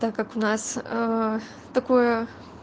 так как у нас такое